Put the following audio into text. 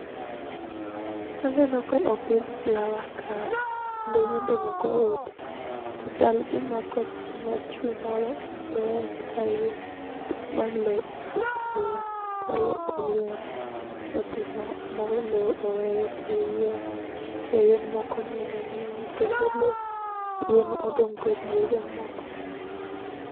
Aneno ka opidh flower kae, kendo yiende moko oti, to chal gima kothno chwe moro matek ahinya ma lo okier kata lo oywere odhi ma lo oweyo tie yien, tie yien moko neno neno kendo yien odong' kodiedo mok ber.